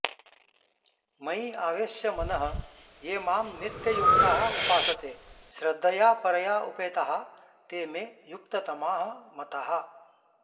मयि आवेश्य मनः ये मां नित्ययुक्ताः उपासते श्रद्धया परया उपेताः ते मे युक्ततमाः मताः